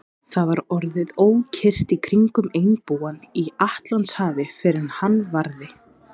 Það var orðið ókyrrt í kringum einbúann í Atlantshafi, fyrr en hann varði.